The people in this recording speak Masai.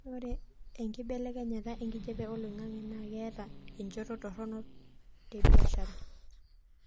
ore enkibelekenyata enkijape oloingangi naa keeta enchoto toronok tebiashara